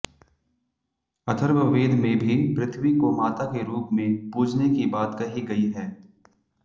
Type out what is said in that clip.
अथर्ववेद में भी पृथ्वी को माता के रूप में पूजने की बात कही गई है